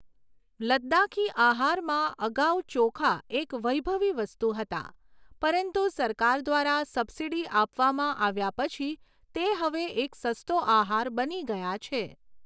લદ્દાખી આહારમાં અગાઉ ચોખા એક વૈભવી વસ્તુ હતા, પરંતુ સરકાર દ્વારા સબસિડી આપવામાં આવ્યા પછી તે હવે એક સસ્તો આહાર બની ગયા છે.